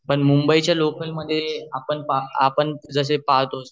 पण मुंबई चे लोकल मध्ये आपण जशे पाहतो